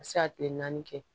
A bɛ se ka kile naani kɛ